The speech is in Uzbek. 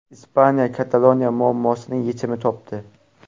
Ispaniya Kataloniya muammosining yechimini topdi.